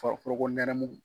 foroko nɛnɛ